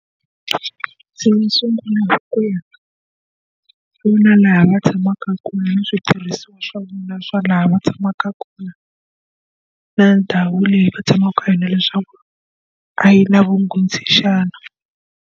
laha va tshamaka kona ni switirhisiwa swa na swona laha va tshamaka kona, na ndhawu leyi va tshamaka eka yona leswaku a yi na vunghozi xana.